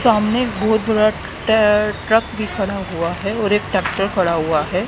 सामने एक बहुत बड़ा टै ट्रक भी खड़ा हुआ है और एक ट्रैक्टर खड़ा हुआ है।